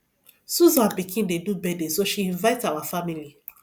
susan pikin dey do birthday so she invite our family